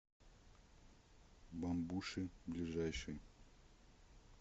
бамбуши ближайший